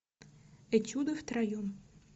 этюды втроем